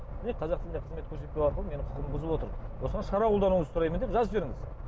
міне қазақ тілінде қызмет көрсетпеу арқылы менің құқығымды бұзып отыр осыған шара қолдануыңызды сұраймын деп жазып жіберіңіз